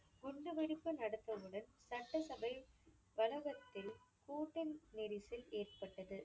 குண்டுவெடிப்பு நடத்தவுடன் சட்டசபை வளாகத்தில் கூட்டநெரிசல் ஏற்பட்டது.